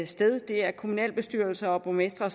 sted kommunalbestyrelser og borgmestre